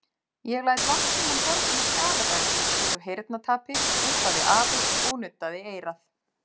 Ég læt Landsímann borga mér skaðabætur út af heyrnartapi þusaði afi og nuddaði eyrað.